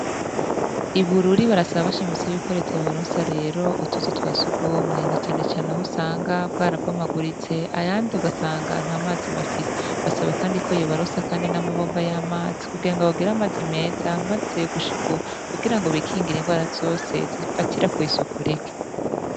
Ibururi barasaba bashimisi y'ikoreteye baronsi rero utuzu twa sugumwe na canecane aho usanga bwo araboma aguritse ayandi ugasanganta amazi bafise basaba, kandi ko yo baronsa, kandi n'amabomba y'amazi kuge nga bagera amazi meza, maze gushikauaa kugira ngo bikingira ingo arazose zipfatira kw'isuku reke.